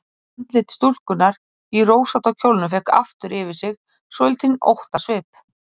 Andlit stúlkunnar í rósótta kjólnum fékk aftur yfir sig svolítinn óttasvip.